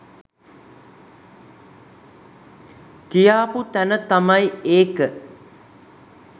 කියාපු තැන තමයි ඒක